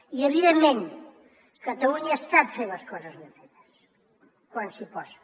i evidentment catalunya sap fer les coses ben fetes quan s’hi posa